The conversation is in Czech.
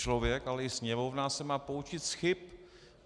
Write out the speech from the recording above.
Člověk, ale i Sněmovna se má poučit z chyb.